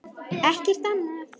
Ekkert annað?